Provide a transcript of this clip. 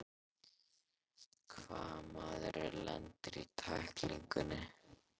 Hvað ef maðurinn lendir í tæklingunni?